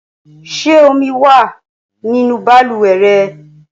Ṣé omi wà nínú balùwẹ̀ rẹ?